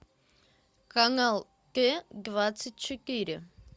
канал т двадцать четыре